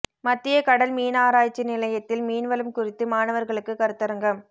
மத்திய கடல் மீன் ஆராய்ச்சி நிலையத்தில் மீன்வளம் குறித்து மாணவர்களுக்கு கருத்தரங்கம்